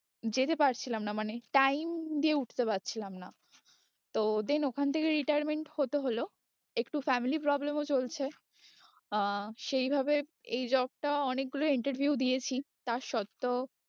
যেতে পারছিলাম না মানে time দিয়ে উঠতে পারছিলাম না তো then ওখান থেকে retirement হতে হলো, একটু family problem ও চলছে আহ সেই ভাবে এই job টা অনেকগুলো interview দিয়েছি তা সত্ত্বেও